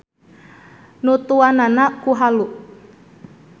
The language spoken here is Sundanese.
Nutuanana ku halu.